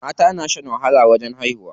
Mata na shan wahala wajen haihuwa.